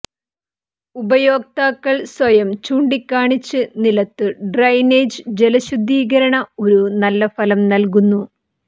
ഉപയോക്താക്കൾ സ്വയം ചൂണ്ടിക്കാണിച്ച് നിലത്തു ഡ്രെയിനേജ് ജലശുദ്ധീകരണ ഒരു നല്ല ഫലം നൽകുന്നു